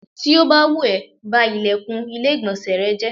Tó bá wù ẹ́, ba ìlẹ̀kùn ilé ìgbọ̀nsẹ̀ rẹ jẹ́.